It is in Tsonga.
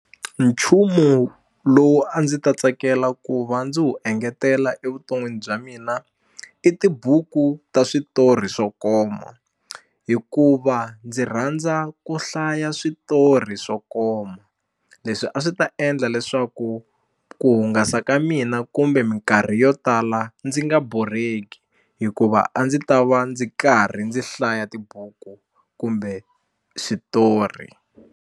Nchumu lowu a ndzi ta tsakela ku va ndzi wu engetela evuton'wini bya mina i tibuku ta switori swo koma hikuva ndzi rhandza ku hlaya switori swo koma leswi a swi ta endla leswaku ku hungasa ka mina kumbe minkarhi yo tala ndzi nga borheki hikuva a ndzi ta va ndzi karhi ndzi hlaya tibuku kumbe switori.